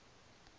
o v vorige